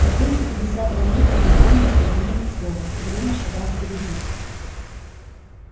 до двести пятидесятого метра бурбон не проронил ни слова угрюмо шагая впереди